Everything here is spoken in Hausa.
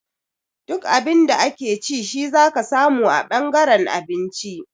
Duk Abin da ake ci shi zaka samu a ɓangaren abinci